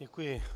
Děkuji.